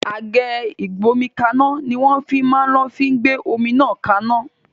Àgé Ìgbómikanna ni wọn fi máa lò fi gbé omi náà kaná